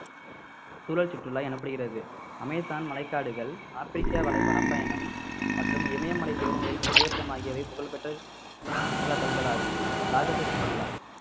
சூழல் சுற்றுலா எனப்படுகிறது அமேசான் மலைக்காடுகள் ஆப்பிரிக்க வலை~ வனப்பயணம் மற்றும் இமயமலை சிகரங்களிலும் மலையேற்றம் ஆகியவை புகழ்பெற்ற சுற்றுலா தளங்கள் ஆகும் சாகச சுற்றுலா